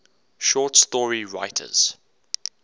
short story writers